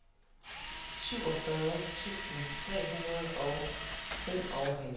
syvogfyrre tusind tre hundrede og femoghalvfjerds